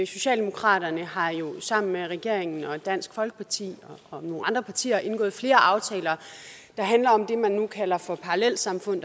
socialdemokraterne har jo sammen med regeringen og dansk folkeparti og nogle andre partier indgået flere aftaler der handler om det man nu kalder parallelsamfund